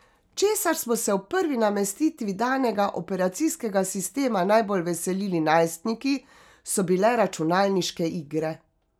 Česar smo se ob prvi namestitvi danega operacijskega sistema najbolj veselili najstniki, so bile računalniške igre.